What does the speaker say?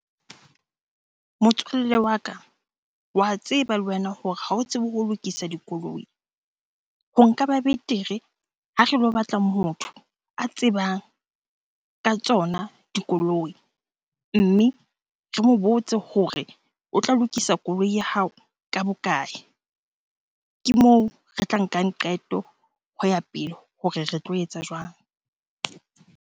Motswalle wa ka, wa tseba le wena hore ha o tsebe ho lokisa dikoloi. Ho nka ba betere ha re lo batla motho a tsebang ka tsona dikoloi. Mme re mo botse hore o tla lokisa koloi ya hao ka bokae? Ke moo re tla nkang qeto ho ya pele hore re tlo etsa jwang?